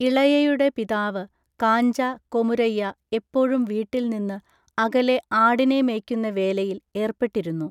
ഇളയയുടെ പിതാവ് കാഞ്ച കൊമുരയ്യ എപ്പോഴും വീട്ടിൽ നിന്ന് അകലെ ആടിനെ മേയ്ക്കുന്ന വേലയിൽ ഏർപ്പെട്ടിരുന്നു.